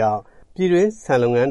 ြောင့် ပြည်တွင်း ဆန်လုပ်ငန်း